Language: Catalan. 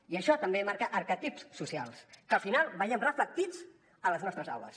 i això també marca arquetips socials que al final veiem reflectits a les nostres aules